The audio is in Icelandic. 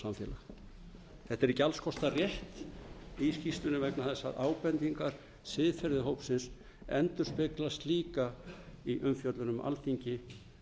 alls kostar rétt í skýrslunni vegna þess að ábendingar siðferðishópsins endurspeglast líka í umfjöllun um alþingi